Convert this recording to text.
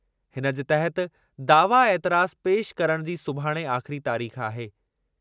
इनजे तहति दावा एतिराज़ु पेशि करणु जी सुभाणे आख़िरी तारीख़ आहे।